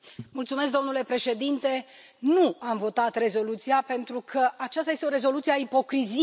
Domnule președinte, nu am votat rezoluția pentru că aceasta este o rezoluție a ipocriziei.